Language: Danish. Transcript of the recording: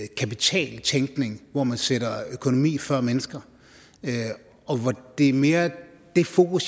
kapitaltænkning hvor man sætter økonomi før mennesker det er mere det fokus